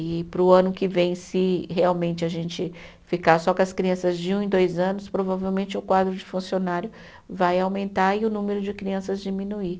E para o ano que vem, se realmente a gente ficar só com as crianças de um e dois anos, provavelmente o quadro de funcionário vai aumentar e o número de crianças diminuir.